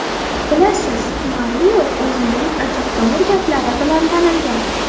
Bilasiz, Mario o‘zining ajabtovur gaplari bilan tanilgan.